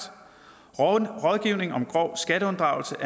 er rådgivning om grov skatteunddragelse